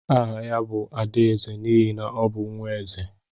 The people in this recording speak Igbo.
Áhà ya bu Adaeze n'ihi na ọ bụ nwaeze.